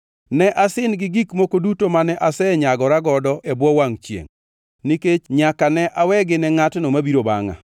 Ne asin gi gik moko duto mane asenyagora godo e bwo wangʼ chiengʼ, nikech nyaka ne awegi ne ngʼatno mabiro bangʼa.